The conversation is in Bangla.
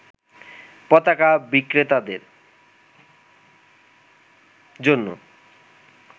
পতাকা বিক্রেতাদের জন্য